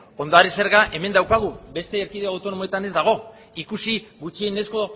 ondare zerga hemen daukagu beste erkidego autonomoetan ez dago ikusi gutxienezko